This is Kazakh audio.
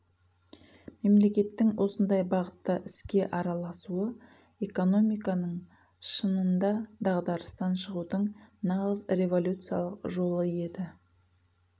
мемлекеттің осындай бағытта іске араласуы экономиканың шынында дағдарыстан шығудың нағыз революциялық жолы еді